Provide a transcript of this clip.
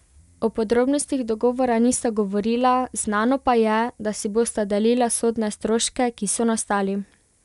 O podrobnostih dogovora nista govorila, znano pa je, da si bosta delila sodne stroške, ki so nastali.